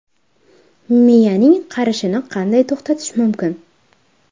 Miyaning qarishini qanday to‘xtatish mumkin?.